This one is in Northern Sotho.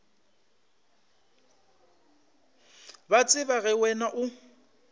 ba tseba ge wena o